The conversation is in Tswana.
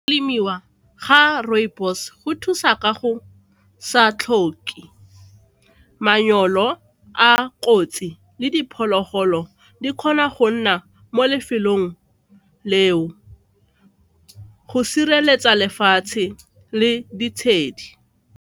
Lemiwa ga rooibos go thusa ka go sa tlhoke a kotsi le diphologolo di kgona go nna mo lefelong leo go sireletsa lefatshe le ditshedi.